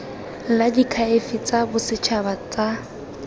la diakhaefe tsa bosetšhaba tsa